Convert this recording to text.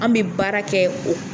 An bɛ baara kɛ o.